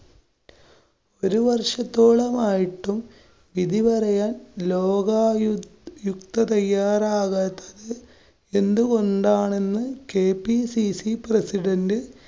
ഒരു വര്‍ഷത്തോളമായിട്ടും വിധിപറയാന്‍ ലോകായു~ യുക്ത തയ്യാറാകാത്തത് എന്തുകൊണ്ടാണെന്ന് kpccpresident